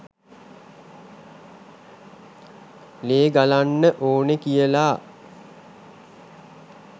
ලේ ගලන්න ඕනේ කියලා.